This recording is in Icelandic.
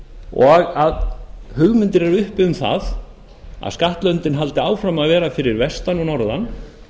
og að hugmyndir eru uppi um það að skattlöndin haldi áfram að vera fyrir vestan og norðan